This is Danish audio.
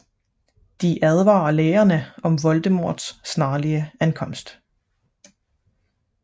De advarer lærerne om Voldemorts snarlige ankomst